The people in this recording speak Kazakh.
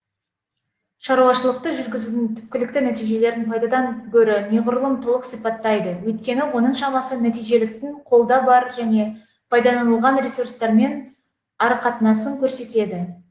шаруашылықты жүргізудің түпкілікті нәтижелерін пайдадан гөрі неғұрлым толық сипаттайды өйткені оның шамасы нәтижеліліктің қолда бар және пайдаланылған ресурстармен арақатынасын көрсетеді